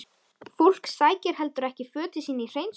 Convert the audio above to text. Fólk sækir heldur ekki fötin sín í hreinsun?